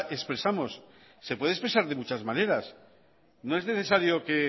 expresamos se puede expresar de muchas maneras no es necesario que